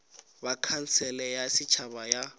ba khansele ya setšhaba ya